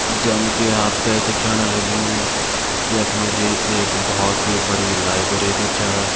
जनकी आपते दिखेण लग्युं यख मजी एक बोहोत ही बड़ी लाइब्रेरी छ।